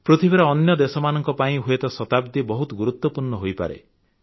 ପୃଥିବୀର ଅନ୍ୟ ଦେଶମାନଙ୍କ ପାଇଁ ହୁଏତ ଶତାବ୍ଦୀ ବହୁତ ଗୁରୁତ୍ୱପୂର୍ଣ୍ଣ ହୋଇପାରେ